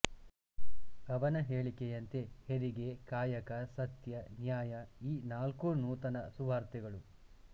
ಅವನ ಹೇಳಿಕೆಯಂತೆ ಹೆರಿಗೆ ಕಾಯಕ ಸತ್ಯ ನ್ಯಾಯಈ ನಾಲ್ಕೂ ನೂತನ ಸುವಾರ್ತೆಗಳು